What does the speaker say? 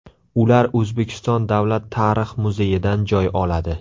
Ular O‘zbekiston Davlat tarix muzeyidan joy oladi.